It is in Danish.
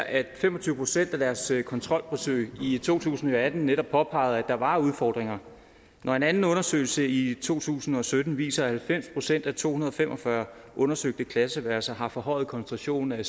at fem og tyve procent af deres kontrolbesøg i to tusind og atten netop påpegede at der var udfordringer når en anden undersøgelse i to tusind og sytten viser at halvfems procent af to hundrede og fem og fyrre undersøgte klasseværelser har forhøjet koncentration af